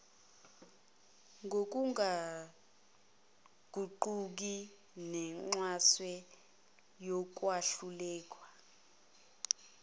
ngokungaguquki nexhaswe ukwahlulelwa